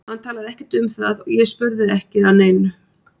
Hann talaði ekkert um það og ég spurði ekki að neinu.